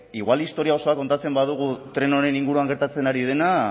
igual historia osoa kontatzen badugu tren honen inguruan gertatzen ari dena